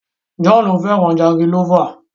John fẹràn jangilófa.